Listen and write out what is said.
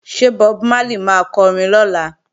Ṣé Bob Marley máa kọrin lọ́la?